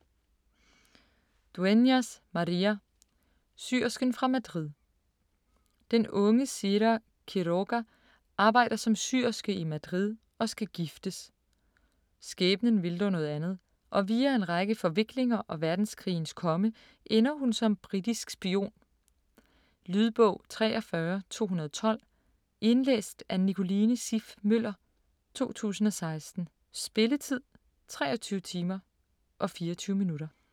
Dueñas, María: Syersken fra Madrid Den unge Sira Quiroga arbejder som syerske i Madrid og skal giftes. Skæbnen vil dog noget andet, og via en række forviklinger og verdenskrigens komme ender hun som britisk spion. Lydbog 43212 Indlæst af Nicoline Siff Møller, 2016. Spilletid: 23 timer, 24 minutter.